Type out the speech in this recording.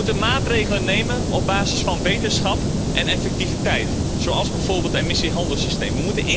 We moeten maatregelen nemen op basis van wetenschap en effectiviteit, zoals bijvoorbeeld het emissiehandelssysteem.